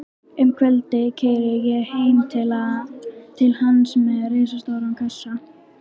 Um kvöldið keyri ég heim til hans með risastóran kassa.